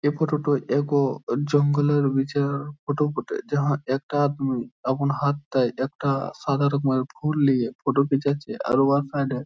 এ ফোটাটা টা একও একটি জঙ্গল এর বিচ-এর ফোটা বটে | যাহা একটা এমন হাতটায় একটা সাদা রকমের ফুল লিয়ে ফোটা খিচাছে | আর উহার সাইডে --